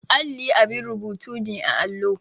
Alli abin rubutu ne a allo.